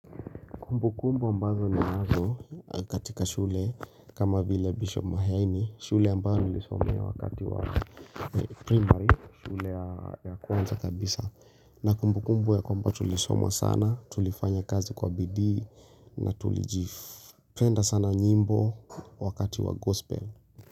Kumbukumbu ambazo ninazo katika shule kama vile Bishop Maheni shule ambayo nilisomea wakati wa primary shule ya kwanza kabisa na kumbukumbu ya kumbu tulisoma sana tulifanya kazi kwa bidii na tulijif penda sana nyimbo wakati wa gospel.